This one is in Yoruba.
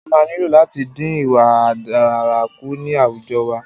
A máa nílò láti dín ìwà ọ̀daràn kù ní àwùjọ wa.